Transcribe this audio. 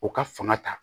U ka fanga ta